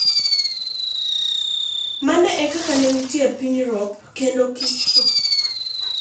mano e kaka ne nitie e piny Europe kinde kistro